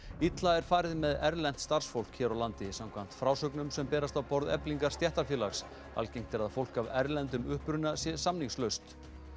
illa er farið með erlent starfsfólk hér á landi samkvæmt frásögnum sem berast á borð Eflingar stéttarfélags algengt er að fólk af erlendum uppruna sé samningslaust